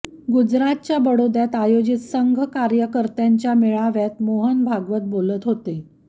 गुजरातच्या बडोद्यात आयोजित संघ कार्यकर्त्यांच्या मेळाव्यात मोहन भागवत बोलत होते